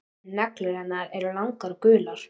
Neglur hennar eru langar og gular.